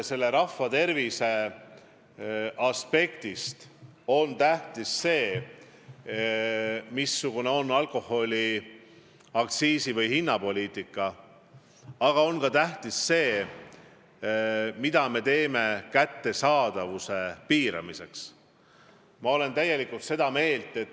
Rahva tervise aspektist on tähtis, missugune on alkoholi puudutav aktsiisi- või hinnapoliitika, aga ka see, mida me teeme kättesaadavuse piiramiseks.